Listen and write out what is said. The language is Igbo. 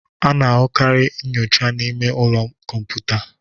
A na-ahụkarị nyocha n'ime ụlọ kọmputa.